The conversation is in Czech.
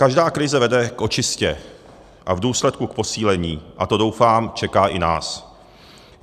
Každá krize vede k očistě a v důsledku k posílení a to, doufám, čeká i nás.